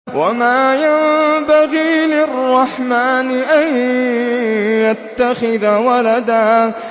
وَمَا يَنبَغِي لِلرَّحْمَٰنِ أَن يَتَّخِذَ وَلَدًا